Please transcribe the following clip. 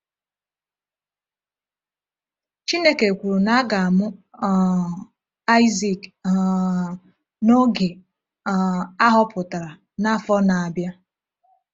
Chineke kwuru na a ga-amụ um Aịzak um “n’oge um a họpụtara n’afọ na-abịa.”